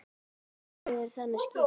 Liðið er þannig skipað